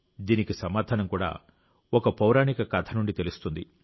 దీనికి సమాధానం కూడా ఒక పౌరాణిక కథ నుండి తెలుస్తుంది